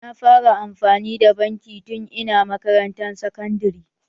Na fara amfani da banki tun ina makarantan sakandare.